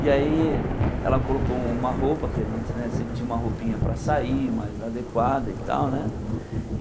E aí ela colocou uma roupa, que a gente né sempre tinha uma roupinha para sair, mais adequada e tal, né?